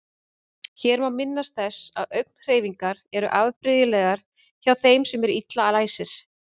Hér má minnast þess að augnhreyfingar eru afbrigðilegar hjá þeim sem eru illa læsir.